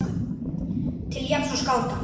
til jafns við skáta.